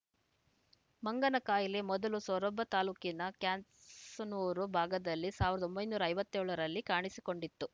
ಮಂಗನಕಾಯಿಲೆ ಮೊದಲು ಸೊರಬ ತಾಲೂಕಿನ ಕ್ಯಾಸನೂರು ಭಾಗದಲ್ಲಿ ಸಾವಿರದ ಒಂಬೈನೂರ ಐವತ್ತೇಳರಲ್ಲಿ ಕಾಣಿಸಿಕೊಂಡಿತ್ತು